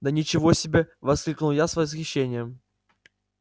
да ничего себе воскликнул я с восхищением